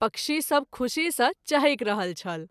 पक्षी सभ खूशी सँ चहैक रहल छल।